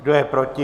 Kdo je proti?